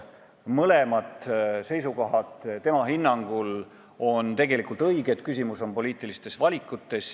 Mõlemad seisukohad on tema hinnangul tegelikult õiged, küsimus on poliitilistes valikutes.